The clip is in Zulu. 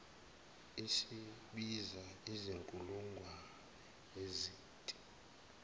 isibiza izinkulungwane ezinti